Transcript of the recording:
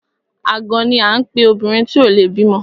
Àgàn ni à ń pe obìnrin tí ò le bímọ.